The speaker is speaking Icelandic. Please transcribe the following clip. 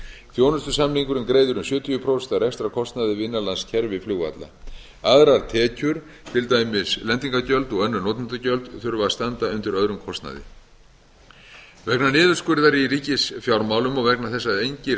þjónustusamningurinn greiðir um sjötíu prósent af rekstrarkostnaði við innanlandskerfi flugvalla aðrar tekjur til dæmis lendingargjöld og önnur notendagjöld þurfa að standa undir öðrum kostnaði vegna niðurskurðar í ríkisfjármálum og vegna þess að engir